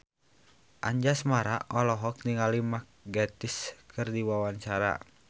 Anjasmara olohok ningali Mark Gatiss keur diwawancara